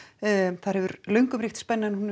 þar hefur löngum ríkt spenna en hún hefur